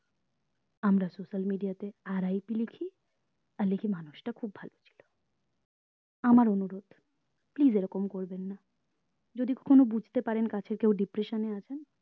আমরা social media তে RIP আর লিখি মানুষটা খুব ভালো ছিল আমার অনুরোধ please এরকম করবেন না যদি কখনো বুঝতে পারেন কাছের কেউ depression এ আছেন